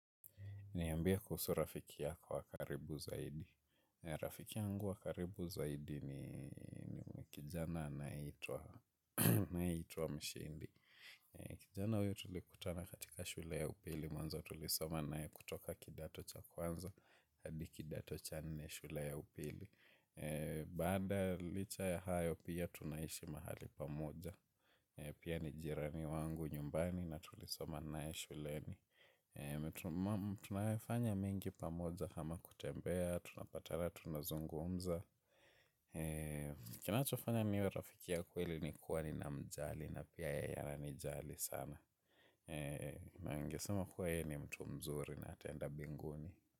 Niambie kuhusu rafiki yako wa karibu zaidi. Rafiki yangu wa karibu zaidi ni kijana anayeitwa mshindi. Kijana huyu tulikutana katika shule ya upili. Mwanzo tulisoma naye kutoka kidato cha kwanza. Hadi kidato cha nne shule ya upili. Baada licha ya hayo pia tunaishi mahali pamoja. Pia ni jirani wangu nyumbani na tulisoma naye shuleni. Tumefanya mengi pamoja kama kutembea, tunapatana, tunazungumza. Kinachofanya niwe rafiki ya kweli ni kuwa ninamjali na pia yeye ananijali sana na ningesema kuwa yeye ni mtu mzuri na ataenda mbinguni.